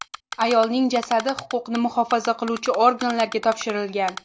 Ayolning jasadi huquqni muhofaza qiluvchi organlarga topshirilgan.